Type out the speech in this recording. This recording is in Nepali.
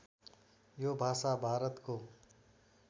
यो भाषा भारतको